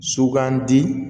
Sugandi